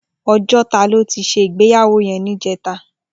Ojota lò ti sé igbéyàwó yèn nijètá